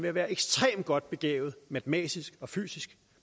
at være ekstremt godt begavet matematisk og fysisk